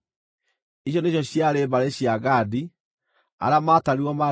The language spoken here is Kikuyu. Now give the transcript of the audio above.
Icio nĩcio ciarĩ mbarĩ cia Gadi; arĩa maatarirwo maarĩ andũ 40,500.